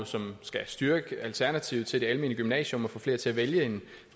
som jo skal styrke alternativet til det almene gymnasium og få flere til at vælge